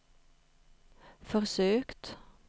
försökt